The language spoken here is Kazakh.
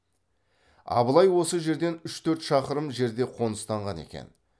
абылай осы жерден үш төрт шақырым жерде қоныстанған екен